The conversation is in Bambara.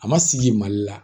A ma sigi mali la